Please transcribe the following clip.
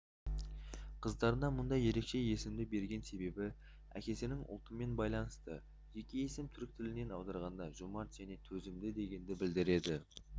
қыздарына мұндай ерекше есімді берген себебі әкесінің ұлтымен байланысты екі есім түрік тілінен аударғанда жомарт және төзімді дегенді білдіреді